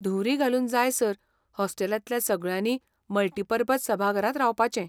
धुंवरी घालून जायसर हॉस्टेलांतल्या सगळ्यांनी मल्टिपर्पज सभाघरांत रावपाचें.